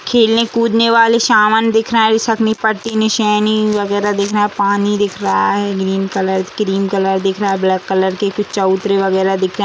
खेलने कूदने वाले सामान दिख रहा है इस सब में पट्टी शाइनिंग दिख रहा है। पानी दिख रहा है। ग्रीन कलर क्रीम कलर दिख रहा है। ब्लैक कलर की कुछ चबुतरे वगेरह दिख रहे है।